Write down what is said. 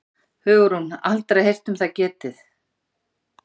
Hugrún: Aldrei heyrt um það getið?